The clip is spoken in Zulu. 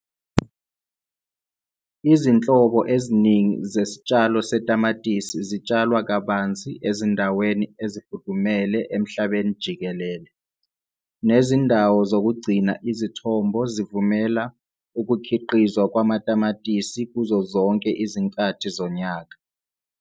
Izinhlobo eziningi zesitshalo setamatisi zitshalwa kabanzi ezindaweni ezifudumele emhlabeni jikelele, nezindawo zokugcina izithombo zivumela ukukhiqizwa kwamatamatisi kuzo zonke izinkathi zonyaka.